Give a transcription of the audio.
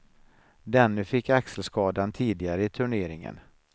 Denne fick axelskadan tidigare i turneringen.